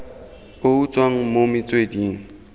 o o tswang mo metsweding